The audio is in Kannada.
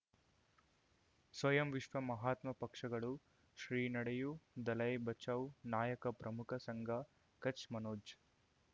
ಸ್ವಯಂ ವಿಶ್ವ ಮಹಾತ್ಮ ಪಕ್ಷಗಳು ಶ್ರೀ ನಡೆಯೂ ದಲೈ ಬಚೌ ನಾಯಕ ಪ್ರಮುಖ ಸಂಘ ಕಚ್ ಮನೋಜ್